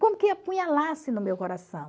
Como que apunhalasse no meu coração?